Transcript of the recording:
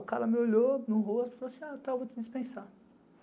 O cara me olhou no rosto e falou assim, vou te dispensar.